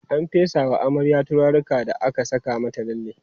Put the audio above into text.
an fesa wa amaryar turaruka da aka Saka mata lalle